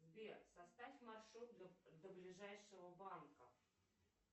сбер составь маршрут до ближайшего банка